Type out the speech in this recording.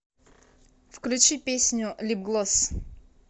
включи песню лип глосс